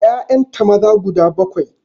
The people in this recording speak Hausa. Ƴaƴanta maza guda bakwai